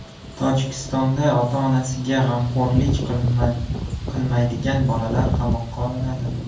Tojikistonda ota-onasiga g‘amxo‘rlik qilmaydigan bolalar qamoqqa olinadi.